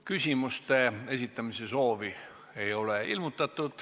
Küsimuste esitamise soovi ei ole ilmutatud.